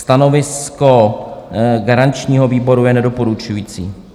Stanovisko garančního výboru je nedoporučující.